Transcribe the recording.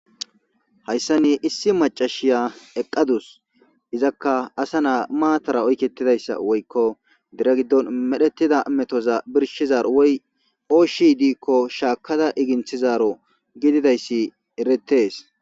Hayissani issi macashiya eqadusi. Izakka assa na'asi mattara oyiketidayissa dere gidoni medhetida metozza birishizaro woyiko oshshi dikko shakada sigethidaro